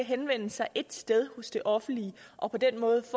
henvende sig ét sted hos det offentlige og på den måde